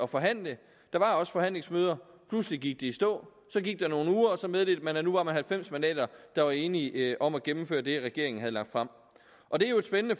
forhandle der var også forhandlingsmøder pludselig gik de i stå så gik der nogle uger og så meddelte man at man nu var halvfems mandater der var enige om at gennemføre det regeringen havde lagt frem og det er jo et spændende